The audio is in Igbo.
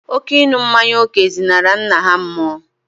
Oké ịnu mmanya ọkụ zinara nna ha mmuo